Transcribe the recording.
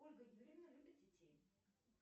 ольга юрьевна любит детей